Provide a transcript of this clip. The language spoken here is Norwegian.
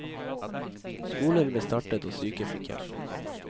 Skoler ble startet og syke fikk hjelp.